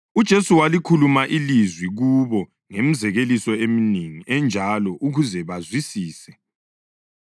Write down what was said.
UJesu walikhuluma ilizwi kubo ngemizekeliso eminengi enjalo ukuze bazwisise.